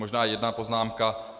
Možná jedna poznámka.